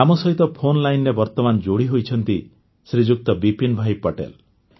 ଆମ ସହିତ ଫୋନ୍ ଲାଇନ୍ରେ ବର୍ତ୍ତମାନ ଯୋଡ଼ିହୋଇଛନ୍ତି ଶ୍ରୀଯୁକ୍ତ ବିପିନ୍ ଭାଇ ପଟେଲ